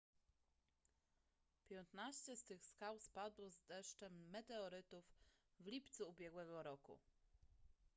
piętnaście z tych skał spadło z deszczem meteorytów w lipcu ubiegłego roku